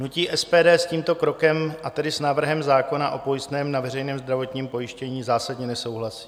Hnutí SPD s tímto krokem, a tedy s návrhem zákona o pojistném na veřejné zdravotní pojištění, zásadně nesouhlasí.